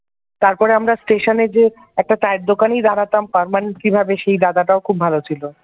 তারপর আমার স্টেশনে যে একটা চায়ের দোকানে দাঁড়াতাম permanent ভাবে সেই দাদাটাও খুব ভালো ছিল।